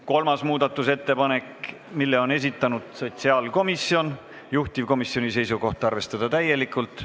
Kolmanda muudatusettepaneku on esitanud sotsiaalkomisjon, juhtivkomisjoni seisukoht on arvestada seda täielikult.